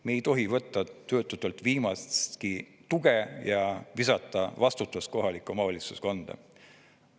Me ei tohi võtta töötutelt viimastki tuge ja visata vastutust kohaliku omavalitsuse kanda.